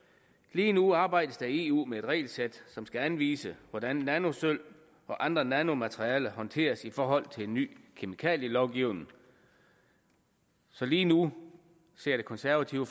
lige nu arbejdes der i eu med et regelsæt som skal anvise hvordan nanosølv og andre nanomaterialer skal håndteres i forhold til en ny kemikalielovgivning så lige nu ser det konservative